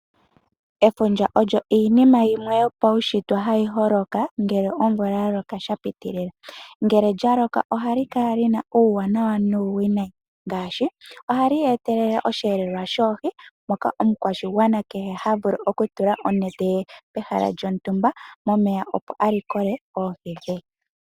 Efundja olyo iinima yimwe yopaushitwe hayi holoka ngele omvula yaloka shapitilila, ngele lyaloka ohali kala lyina iiwinayi nuuwanawa ngaashi ohali etelele oshiyelelwa shoohi, ngoka omukwashigwana kehe ha vulu okutula onete pehala lyontumba momeya opo a likole oohi dhe.